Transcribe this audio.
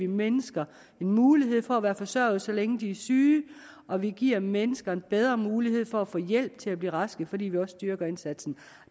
mennesker en mulighed for at være forsørget så længe de er syge og vi giver mennesker en bedre mulighed for at få hjælp til at blive raske fordi vi også styrker indsatsen